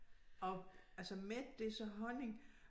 Og altså med det så honning